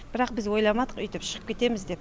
бірақ біз ойламадық үйтіп шығып кетеміз деп